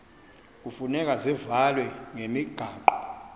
hufuneka zivalwe ngokwemigaqo